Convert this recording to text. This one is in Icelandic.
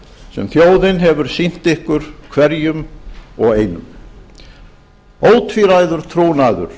sem þjóðin hefur sýnt ykkur hverjum og einum ótvíræður trúnaður